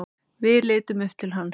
Við litum upp til hans.